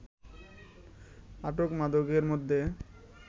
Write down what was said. আটক মাদকের মধ্যে